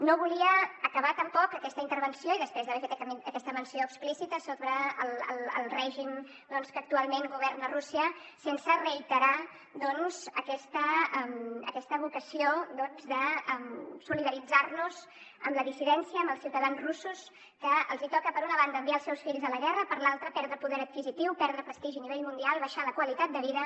no volia acabar tampoc aquesta intervenció després d’haver fet aquesta menció explícita sobre el règim que actualment governa rússia sense reiterar aquesta vocació de solidaritzar nos amb la dissidència amb els ciutadans russos que els hi toca per una banda enviar els seus fills a la guerra per l’altra perdre poder adquisitiu perdre prestigi a nivell mundial i abaixar la qualitat de vida